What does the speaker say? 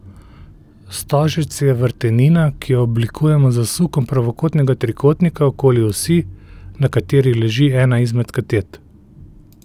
Stožec je vrtenina, ki jo oblikujemo z zasukom pravokotnega trikotnika okoli osi, na kateri leži ena izmed katet.